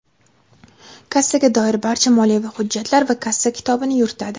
Kassaga doir barcha moliyaviy hujjatlar va kassa kitobini yuritadi.